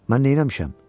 Mən neyləmişəm?